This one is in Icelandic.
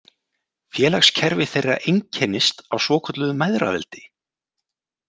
Félagskerfi þeirra einkennist af svokölluðu mæðraveldi.